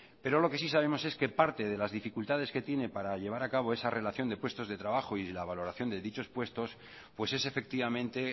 pero lo que sí sabemos es que parte de las dificultades que tiene para llevar a cabo esa relación de puestos de trabajo y la valoración de dichos puestos pues es efectivamente